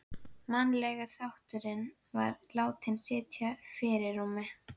Mannlegi þátturinn var látinn sitja í fyrirrúmi.